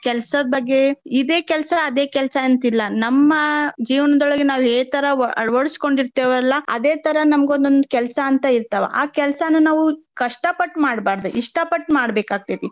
ಕೆಲ್ಸದ ಬಗ್ಗೆ ಇದೆ ಕೆಲ್ಸಾ ಅದೇ ಕೆಲ್ಸಾ ಅಂತಿಲ್ಲಾ. ನಮ್ಮ ಜೀವನದೊಳಗ್ ನಾವ್ ಏತರಾ ಅಳವಡಿಸಿಕೊಂಡಿರ್ತೆವಲ್ಲಾ ಅದೇ ತರಾ ನಮ್ಗೊಂದೊಂದ್ ಕೆಲ್ಸಾ ಅಂತ ಇರ್ತಾವ. ಆ ಕೆಲ್ಸಾನ ನಾವು ಕಷ್ಟ ಪಟ್ ಮಾಡ್ಬಾರ್ದ ಇಷ್ಟ ಪಟ್ ಮಾಡ್ಬೇಕಾಗ್ತೆತಿ.